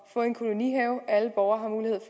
få en kolonihave hvor alle borgere